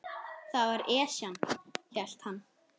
Það var Esjan, hélt hann.